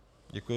Děkuji.